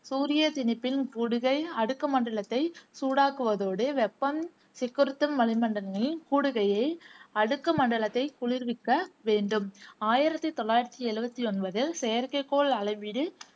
சூரிய திணிப்பின் கூடுகை அடுக்கு மண்டலத்தை சூடாக்குவதோடு வெப்பம் சிக்குறுத்தும் வளிமண்டலங்களின் கூடுகையை அடுக்கு மண்டலத்தை குளிர்விக்க வேண்டும். ஆயிரத்தி தொள்ளாயிரத்தி எழுவத்தி ஒன்பதில் செயற்கைக்கோள் அளவீடு